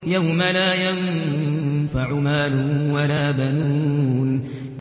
يَوْمَ لَا يَنفَعُ مَالٌ وَلَا بَنُونَ